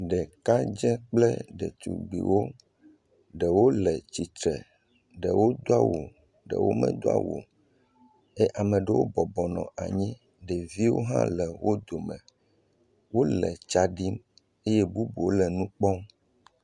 ɖekadzɛ kple ɖetugbiwo ɖewo le atsitsre ɖewo doawu ɖewo medó awu o ye ɖewo bɔbɔnɔ anyi ɖeviwo hã le wo dome ye wóle tsaɖim ye bubuwo le nukpɔm